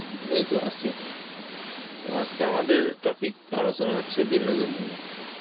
এইতো আছি. তো আজকে আপনাদের topic আলোচনা হচ্ছে বিনোদন নিয়ে.